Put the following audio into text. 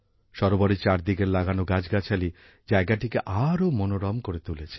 সরোবরের চারদিকের লাগানো গাছগাছালি জায়গাটিকে আরো মনোরম করে তুলেছে